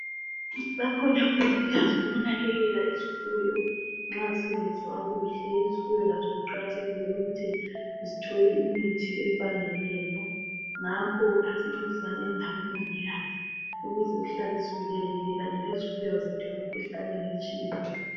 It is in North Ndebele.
Bakhona omongikazi bokunakekela izifuyo nxa zingezwa kuhle. Izifuyo lazo kuqakathekile ukuthi zithole imithi efaneleyo ngakho asincedisaneni labomongikazi ukuze sihlale sivikelekile kanye lezifuyo zethu emikhuhlaneni etshiyeneyo.